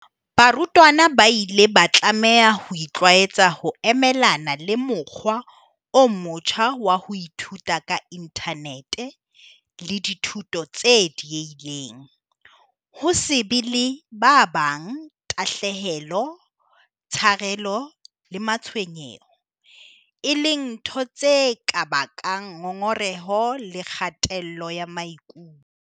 Barutwana ba ile ba tlameha ho itlwaetsa ho emelana le mokgwa o motjha wa ho ithuta ka inthanete le dithuto tse diehileng, ho se be le ba bang, tahlehelo, tsharelo le matshwenyeho, e leng ntho tse ka bakang ngongoreho le kgatello ya maikutlo.